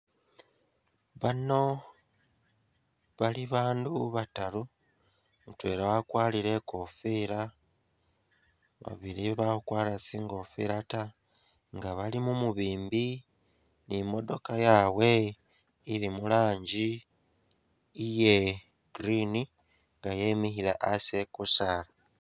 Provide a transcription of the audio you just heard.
Bano bali bandu bataru, mutwela wakwarire ikofila ,babili bakhukwara tsi'ngofila ta nga bali mumubimbi ni modooka yabwe ili muranji iye green nga yemikhile asi e'kusaala